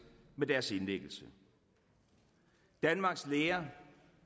med deres indlæggelse danmarks læger